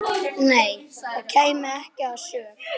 Nei, það kæmi ekki að sök.